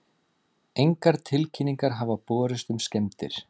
Engar tilkynningar hafa borist um skemmdir